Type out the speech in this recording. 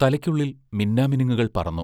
തലയ്ക്കുള്ളിൽ മിന്നാമിനുങ്ങുകൾ പറന്നു.